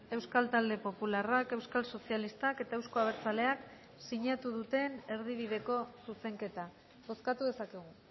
euskal talde popularrak euskal sozialistak eta euzko abertzaleak sinatu duten erdibideko zuzenketa bozkatu dezakegu